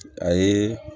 A ye